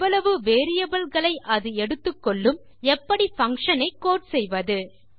எவ்வளவு வேரியபிள் களை அது எடுத்துக்கொள்ளும் எப்படி பங்ஷன் ஐ கோடு செய்வது